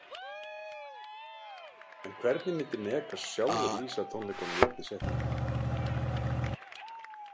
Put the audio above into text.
En hvernig myndi Megas sjálfur lýsa tónleikunum í einni setningu?